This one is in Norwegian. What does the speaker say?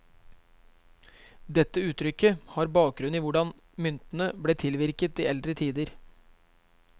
Dette uttrykket har bakgrunn i hvordan myntene ble tilvirket i eldre tider.